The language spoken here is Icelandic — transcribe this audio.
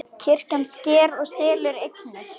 Kirkjan sker og selur eignir